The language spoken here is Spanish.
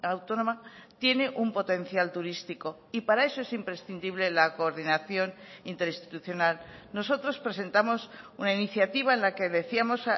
autónoma tiene un potencial turístico y para eso es imprescindible la coordinación interinstitucional nosotros presentamos una iniciativa en la que decíamos